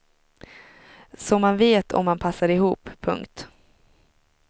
Så man vet om man passar ihop. punkt